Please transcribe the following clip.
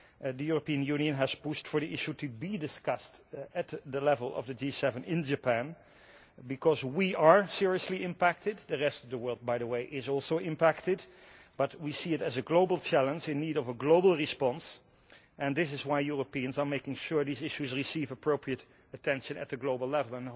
The European Union has pushed for the issue to be discussed at the level of the G7 in Japan because we are seriously impacted the rest of the world, by the way, is also impacted but we see it as a global challenge in need of a global response, and this is why Europeans are making sure these issues receive appropriate attention at a global level.